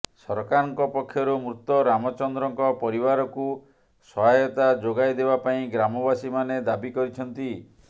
ସରକାରଙ୍କ ପକ୍ଷରୁ ମୃତ ରାମଚନ୍ଦ୍ରଙ୍କ ପରିବାରକୁ ସହାୟତା ଯୋଗାଇ ଦେବା ପାଇଁ ଗ୍ରାମବାସୀମାନେ ଦାବିକରିଛନ୍ତି